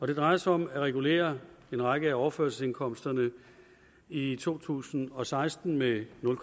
det drejer sig om at regulere en række af overførselsindkomsterne i to tusind og seksten med nul